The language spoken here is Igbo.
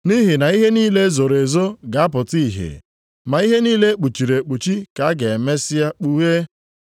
Nʼihi na ihe niile e zoro ezo ga-apụta ihe ma ihe niile e kpuchiri ekpuchi ka a ga-emesịa kpughee.